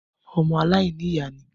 Ọmọ aláìnìyá ni i.